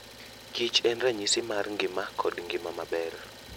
Kich en ranyisi mar ngima kod ngima maber.